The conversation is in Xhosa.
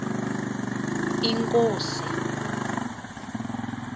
inkosi